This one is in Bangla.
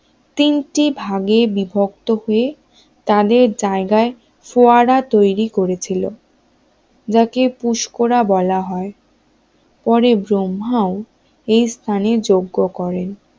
তিনটি ভাগে বিভক্ত হয়ে তাদের জায়গায় ফোয়ারা তৈরি করেছিল যাকে পুষ্করা বলা হয় পরে ব্রহ্মাও এই স্থানে যোগ্য করেন